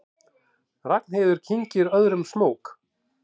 Ragnheiður kyngir öðrum smók.